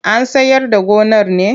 An sayar da gonar ne?